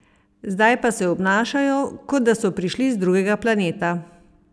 Zdaj pa se obnašajo, kot da so prišli z drugega planeta!